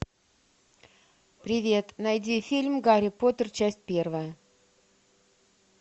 привет найди фильм гарри поттер часть первая